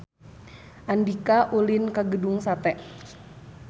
Andika ulin ka Gedung Sate